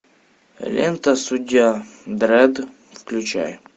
лента судья дредд включай